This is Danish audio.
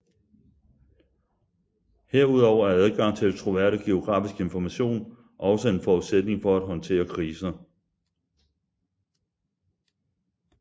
Herudover er adgang til troværdig geografisk information også en forudsætning for at håndtere kriser